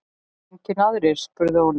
Engir aðrir? spurði Óli.